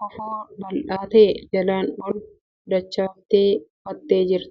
Kofoo bal'aa ta'e jalaan ol dachaaftee uffattee kan jirtuufi deemsa eegaluuf tarkaanfattee kan jirtu ta'uu argina.